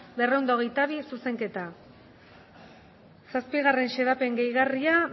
berrehun eta hogeita bi zuzenketa zazpigarren xedapen gehigarria